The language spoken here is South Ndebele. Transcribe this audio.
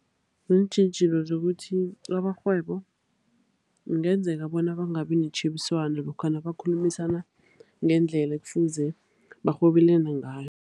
Ziintjhijilo zokuthi amarhwebo kungenzeka bona bangabi netjhebiswano, lokha nabakhulumisana ngendlela ekufuze barhwebelane ngayo.